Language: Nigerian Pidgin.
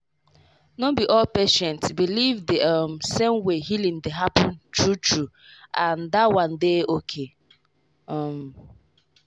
no be all patient believe the um same way healing dey happen true true—and that one dey okay. um